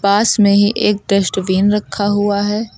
पास में ही एक डस्टबीन रखा हुआ है।